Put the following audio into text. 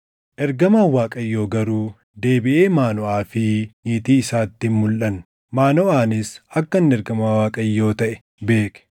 Ergamaan Waaqayyoo garuu deebiʼee Maanoʼaa fi niitii isaatti hin mulʼanne. Maanoʼaanis akka inni ergamaa Waaqayyoo taʼe beeke.